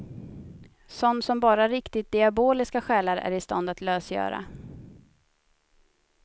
Sån som bara riktigt diaboliska själar är i stånd att lösgöra.